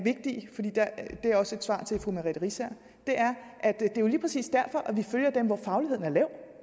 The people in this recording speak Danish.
er også et svar til fru merete riisager at det jo lige præcis er derfor at vi følger dem hvor fagligheden er lav